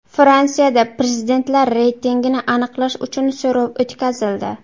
Fransiyada prezidentlar reytingini aniqlash uchun so‘rov o‘tkazildi.